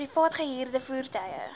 privaat gehuurde voertuie